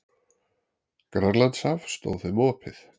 Grænlandshaf stóð þeim opið.